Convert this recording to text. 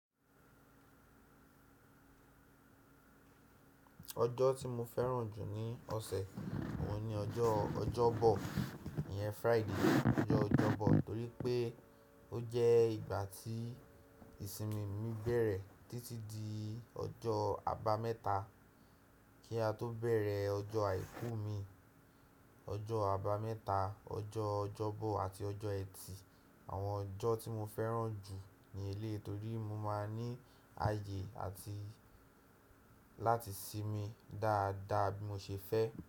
Ọjọ́ tí mo fẹ́ràn jù ní ọ̀sẹ̀ òun ni ọjọ́ Ọjọ́bọ̀, ìyẹn Friday, ọjọ́ Ọjọ́bọ̀ nítorí pé ó jẹ́ ìgbà tí ìsinmi mi bẹ̀rẹ̀ títí di ọjọ́ àbámẹ́ta kí a tó bẹ̀rẹ̀ ọjọ́ àìkú mi. Ọjọ́ àbámẹ́ta, ọjọ́ Ọjọ́bọ̀ àti ọjọ́ Ẹtì, àwọn ọjọ́ tí mo fẹ́ràn jù ni elé yí nítorí mo ma ní àyè àti láti sinmi dáadáa bí mo ṣe fẹ́.